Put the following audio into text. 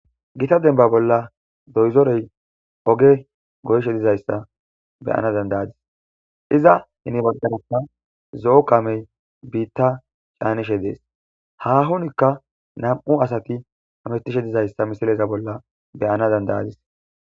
Gita dembba bolla doyzorey oge goyishe dizayssa be'ana dandda'adis iza guye baggarakka zo'o kaamey biita caanishe dees haahonoka nam'u asati ooththishe dizayssa be'anas dandda'adis.